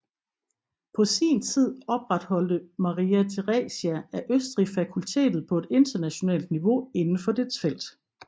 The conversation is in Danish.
På sin tid opretholdte Maria Theresia af Østrig fakultetet på et internationalt niveau inden for dets felt